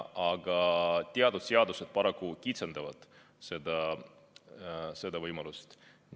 Aga teatud seadused paraku kitsendavad seda võimalust.